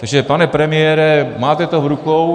Takže pane premiére, máte to v rukou.